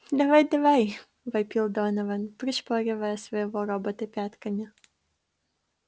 давай-давай вопил донован пришпоривая своего робота пятками